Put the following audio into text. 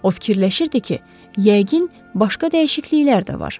O fikirləşirdi ki, yəqin başqa dəyişikliklər də var.